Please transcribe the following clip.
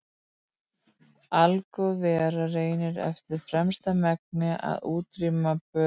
Algóð vera reynir eftir fremsta megni að útrýma böli.